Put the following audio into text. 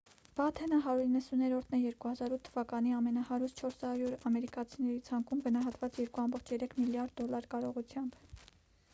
բաթենը 190-րդն է 2008 թվականի ամենահարուստ 400 ամերիկացիների ցանկում գնահատված 2,3 միլիարդ դոլար կարողությամբ